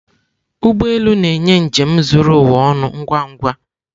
Ụgbọ elu na-enye njem zuru ụwa ọnụ ngwa ngwa.